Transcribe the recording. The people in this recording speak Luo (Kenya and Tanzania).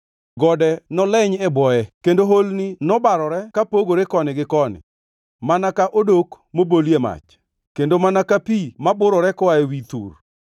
Gode noleny e bwoye kendo holni nobarore kapogore koni gi koni, mana ka odok mobolie mach, kendo mana ka pi maburore koa ewi thur.